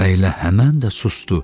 Və elə həmən də susdu.